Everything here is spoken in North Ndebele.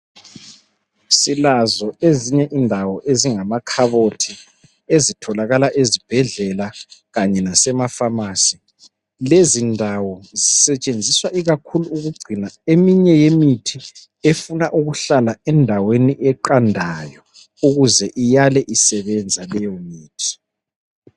Silazo ezinye indawo ezingamakhabothi ezitholakala ezibhedlela kanye lase mapharmacy .Lezi ndawo zisetshenziswa ikakhulu ukugcina eminye yemithi efuna ukuhlala endaweni eqandayo ukuze iyale isebenza leyo mithi.